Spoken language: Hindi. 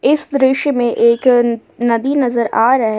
इस दृश्य में एक नदी नजर आ रहा है।